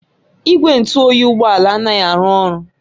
Igwe ntụ oyi Ụgbọ ala anaghị arụ ọrụ